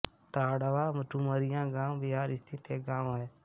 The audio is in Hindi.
ताँड़वा डुमरिया गया बिहार स्थित एक गाँव है